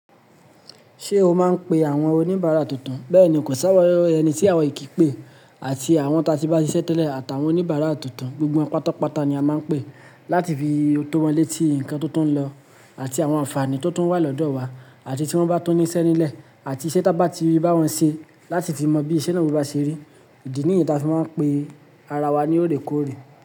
Ṣé o máa ń pe àwọn oníbàárà tuntun? Bẹ́ẹ̀ni, kò ṣáwọ́ ẹni tí àwa o kí n pé àti àwọn tátí bá ṣiṣẹ́ tẹ́lẹ̀ àtàwọn oníbàárà tuntun. Gbogbo won pátápátá ni a máa ń pè láti fi to wọn létí nǹkan tó tún ń lọ àti àwọn àǹfààní tó tún wà lọ́dọ̀ wa àti tí wọ́n bá tún níṣẹ́ nílẹ̀ àti iṣẹ́ tá bá ti bá wọ́n ṣe láti ti mọ bí iṣẹ́ náà bá ṣe rí. Ìdí nìyẹn taa fí wọ́n máa ń pe ara wa ní orèkóòrè.